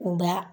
N ba